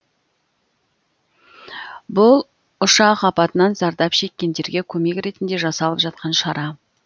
бұл ұшақ апатынан зардап шеккендерге көмек ретінде жасалып жатқан шара